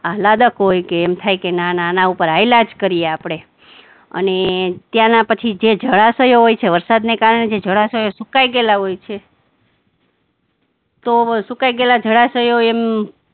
આહલાદક હોય કે એમ થાય કે ના ના આના ઉપર હાલા જ કરવી આપણે અને ત્યાંના પછી જે જળાશયો હોય છે, વરસાદને કારણે જે જળાશયો સુકાઈ ગયેલા હોય છે તો સુકાઈ ગયેલા જળાશયો એમ